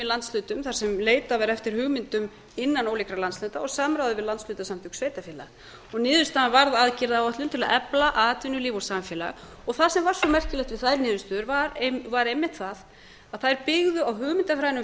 þar sem leitað var eftir hugmyndum innan ólíkra landshluta og samráði við landshlutasamtök sveitarfélaga og niðurstaðan varð aðgerðaáætlun til að efla atvinnulíf og samfélag og það sem var svo merkilegt við þær niðurstöður var einmitt það að þær byggðu á hugmyndafræðinni um